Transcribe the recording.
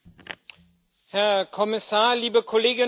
Herr Kommissar, liebe Kolleginnen und Kollegen!